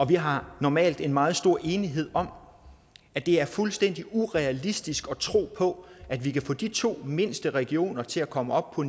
vi har normalt en meget stor enighed om at det er fuldstændig urealistisk at tro på at vi kan få de to mindste regioner til at komme op på